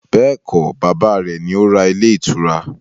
Bẹ́ẹ̀kọ́, bàbá rẹ̀ ni ó ra ilé ìtura